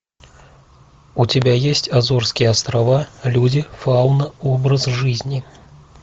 у тебя есть азорские острова люди фауна образ жизни